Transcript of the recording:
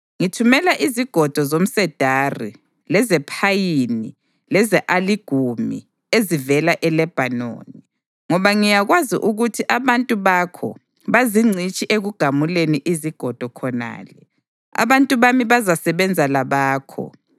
Ngithumela izigodo zomsedari lezephayini leze-aligumi ezivela eLebhanoni, ngoba ngiyakwazi ukuthi abantu bakho bazingcitshi ekugamuleni izigodo khonale. Abantu bami bazasebenza labakho